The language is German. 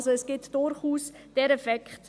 Es gibt also durchaus diesen Effekt.